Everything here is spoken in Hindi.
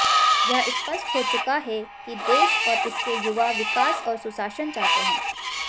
यह स्पष्ट हो चुका है कि देश और इसके युवा विकास और सुशासन चाहते हैं